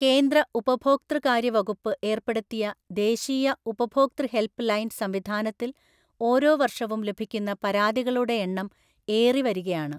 കേന്ദ്ര ഉപഭോക്തൃകാര്യവകുപ്പ് ഏര്‍പ്പെടുത്തിയ ദേശീയ ഉപഭോക്തൃഹെല്‍പ്പ് ലൈന്‍ സംവിധാനത്തില്‍ ഓരോ വര്‍ഷവും ലഭിക്കുന്ന പരാതികളുടെ എണ്ണം ഏറിവരികയാണ്.